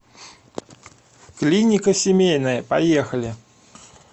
клиника семейная поехали